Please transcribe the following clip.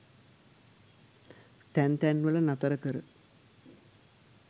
තැන් තැන්වල නතර කර